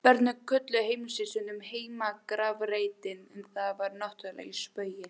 Börnin kölluðu heimili sitt stundum heimagrafreitinn en það var náttúrlega í spaugi.